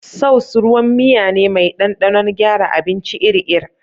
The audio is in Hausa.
Sauce ruwan miya ne mai ɗanɗanon gyara abinci ir ir